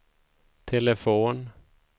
telefon